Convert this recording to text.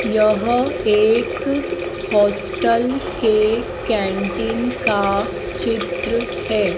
यह एक हॉस्टल के कैंटीन का चित्र है।